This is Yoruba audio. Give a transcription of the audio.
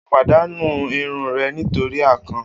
O padanu irun rẹ nitori akàn.